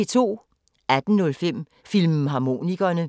18:05: Filmharmonikerne